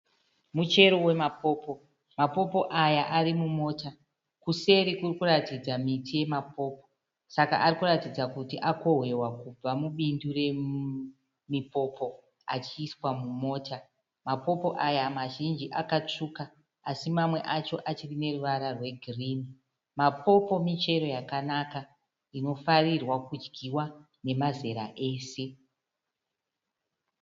Muchero wamapopo. Mapopo aya ari mumota. Kuseri kuri kuratidza miti yamapopo. Saka ari kuratidza kuti akohwewa kubva mubindu remipopo achiiswa mumota. Mapopo aya mazhinji akatsvuka asi mamwe acho achine ruvara rwegirini. Mapopo michero yakanaka inofarirwa kudyiwa namazera ese.